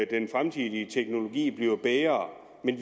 den fremtidige teknologi bliver bedre men